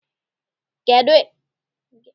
Gịnị ka ị ga-ete n'egedege ihu gị?